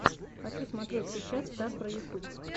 хочу смотреть сейчас стар про ютуб